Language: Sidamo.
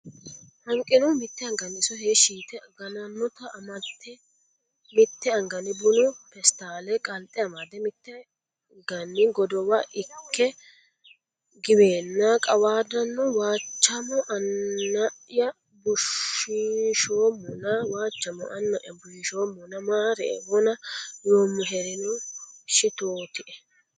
Hanqinohu mitte anganni iso heeshshi yite ganannota amate mitte anganni bunu peestaale qalxe amade mitteege godowa ikke giweenna qawaadanno Waachamo Anna ya bushiishoommona Waachamo Anna ya bushiishoommona maarie wona yoommoherino shitootie !